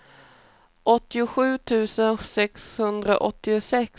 åttiosju tusen sexhundraåttiosex